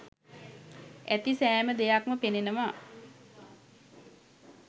ඇති සෑම දෙයක්ම පෙනෙනවා